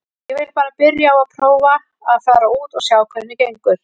Ég vil bara byrja á að prófa að fara út og sjá hvernig gengur.